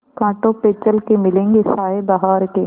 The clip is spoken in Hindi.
कांटों पे चल के मिलेंगे साये बहार के